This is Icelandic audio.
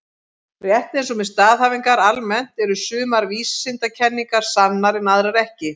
Rétt eins og með staðhæfingar almennt eru sumar vísindakenningar sannar en aðrar ekki.